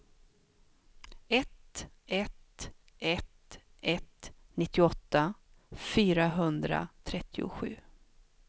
ett ett ett ett nittioåtta fyrahundratrettiosju